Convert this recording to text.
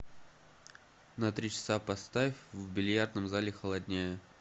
на три часа поставь в бильярдном зале холоднее